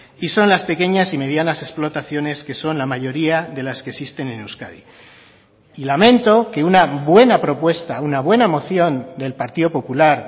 y son las pequeñas y medianas explotaciones que son la mayoría de las que existen en euskadi y lamento que una buena propuesta una buena moción del partido popular